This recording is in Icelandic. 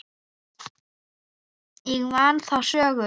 Ég man þá sögu.